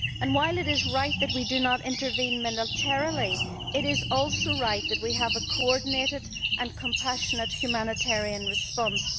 While it is right that we do not intervene militarily, it is also right that we have a coordinated and compassionate humanitarian response.